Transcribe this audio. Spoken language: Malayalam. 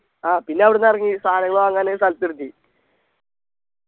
ആ പിന്നവിടെന്നിറങ്ങി സാധനങ്ങള് വാങ്ങാന് ഒരു സ്ഥലത്ത് നിർത്തി